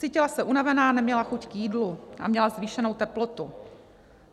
Cítila se unavená, neměla chuť k jídlu a měla zvýšenou teplotu.